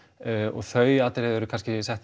og þau atriði eru kannski sett